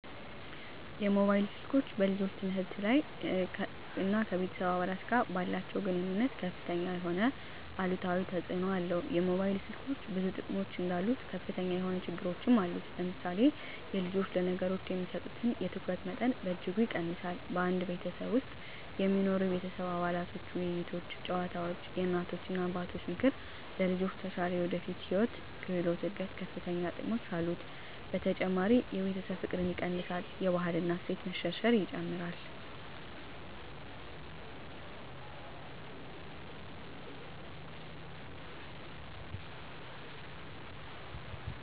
የሞባይል ስልኮች በልጆች ትምህርት ሁኔታ ላይ እና ከቤተሰብ አባላት ጋር ባላቸዉ ግንኙነት ከፍተኛ የሆነ አሉታዊ ተፅእኖ አለው የሞባይል ስልኮች ብዙ ጥቅሞች እንዳሉት ከፍተኛ የሆነ ችግሮች አሉት ለምሳሌ የልጆች ለነገሮች የሚሰጡትን የትኩረት መጠን በእጅጉ ይቀንሳል በአንድ ቤተሰብ ውስጥ የሚኖሩ የቤተሰብ አባላቶች ውይይቶች ጨዋታወች የእናቶች እና አባቶች ምክር ለልጆች ተሻለ የወደፊት የህይወት ክህሎት እድገት ከፈተኛ ጥቅሞች አሉት። በተጨማሪ የቤተሰብ ፍቅርን ይቀንሳል የባህል እና እሴት መሸርሸር ይጨምራል።